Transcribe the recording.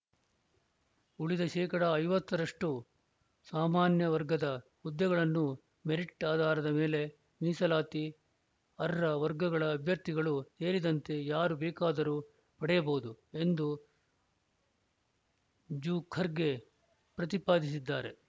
ಉಳಿದ ಶೇಕಡಾ ಐವತ್ತು ರಷ್ಟುಸಾಮಾನ್ಯ ವರ್ಗದ ಹುದ್ದೆಗಳನ್ನು ಮೆರಿಟ್‌ ಆಧಾರದ ಮೇಲೆ ಮೀಸಲಾತಿ ಅರ್ಹ ವರ್ಗಗಳ ಅಭ್ಯರ್ಥಿಗಳು ಸೇರಿದಂತೆ ಯಾರು ಬೇಕಾದರೂ ಪಡೆಯಬಹುದು ಎಂದು ಜೂಖರ್ಗೆ ಪ್ರತಿಪಾದಿಸಿದ್ದಾರೆ